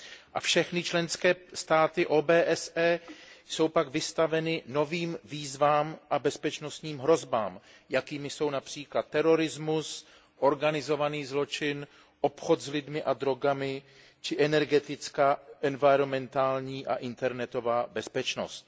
A všechny členské státy OBSE jsou pak vystaveny novým výzvám a bezpečnostním hrozbám, jakými jsou např. terorismus, organizovaný zločin, obchod s lidmi a drogami či energetická, environmentální a internetová bezpečnost.